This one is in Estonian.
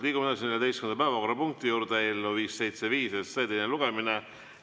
Liigume 14. päevakorrapunkti juurde: eelnõu 575 teine lugemine.